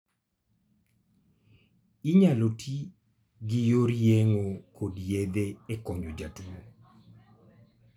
Inyalo ti gi yor yeng'o kod yedhe e konyo jotuo.